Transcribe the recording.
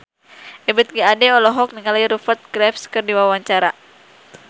Ebith G. Ade olohok ningali Rupert Graves keur diwawancara